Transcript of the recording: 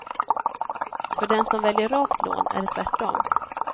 För den som väljer rakt lån är det tvärt om.